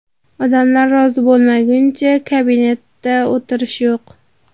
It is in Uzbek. Odamlar rozi bo‘lmaguncha kabinetda o‘tirish yo‘q!